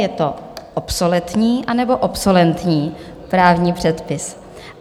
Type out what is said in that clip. Je to obsoletní, anebo obsolentní právní předpis?